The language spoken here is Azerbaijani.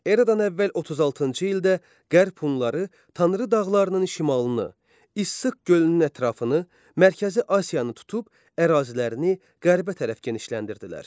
Eradan əvvəl 36-cı ildə Qərb Hunları Tanrı dağlarının şimalını, İssıq gölünün ətrafını, Mərkəzi Asiyanı tutub ərazilərini qərbə tərəf genişləndirdilər.